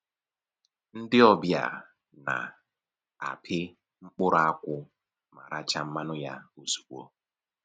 Ndị ọbịa na-apị mkpụrụ akwụ ma rachaa mmanụ ya ozugbo